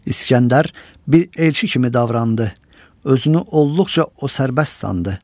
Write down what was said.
İskəndər bir elçi kimi davrandı, özünü olduqca o sərbəst sandı.